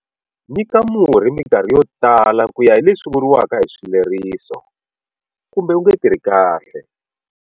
Nyika murhi minkarhi yo tala ku ya hi leswi vuriwaka hi swileriso, kumbe wu nge tirhi kahle.